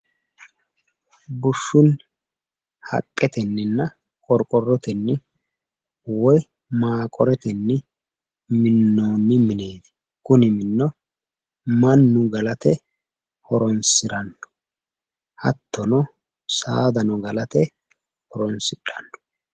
Bushshunni, haqqetenninna qorqorrotenni woyi maanqoretenni minnoonni mineeti. Kuni minino mannu galate horoonsiranno. Hattono saadano galate horoonsidhanno.